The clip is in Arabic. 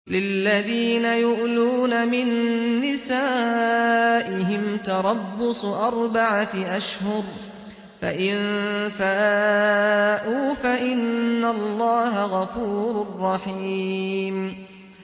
لِّلَّذِينَ يُؤْلُونَ مِن نِّسَائِهِمْ تَرَبُّصُ أَرْبَعَةِ أَشْهُرٍ ۖ فَإِن فَاءُوا فَإِنَّ اللَّهَ غَفُورٌ رَّحِيمٌ